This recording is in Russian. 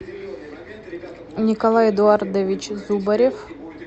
николай эдуардович зубарев